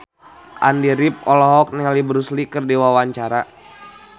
Andy rif olohok ningali Bruce Lee keur diwawancara